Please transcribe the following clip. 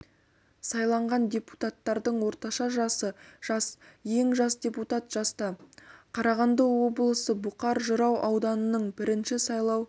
сайланған депутаттардың орташа жасы жас ең жас депутат жаста қарағанды облысы бұқар жырау ауданының бірінші сайлау